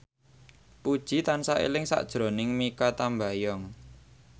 Puji tansah eling sakjroning Mikha Tambayong